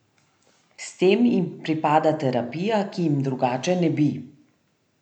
S tem jim pripada terapija, ki jim drugače ne bi.